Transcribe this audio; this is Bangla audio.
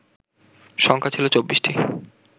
সংখ্যা ছিল ২৪টি